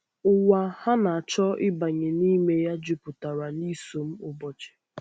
Ụwa ha na-achọ ịbanye n’ime ya juputara na isom ụbọchi.